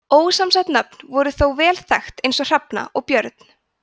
ósamsett nöfn voru þó vel þekkt eins og hrefna og björn